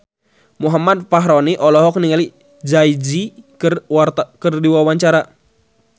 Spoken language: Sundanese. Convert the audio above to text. Muhammad Fachroni olohok ningali Jay Z keur diwawancara